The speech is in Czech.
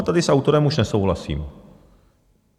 A tady s autorem už nesouhlasím.